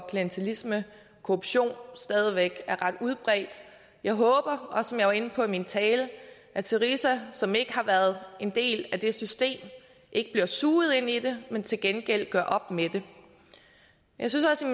klientilisme og korruption stadig væk er ret udbredt jeg håber som jeg også var inde på i min tale at syriza som ikke har været en del af det system ikke bliver suget ind i det men til gengæld gør op med det jeg synes også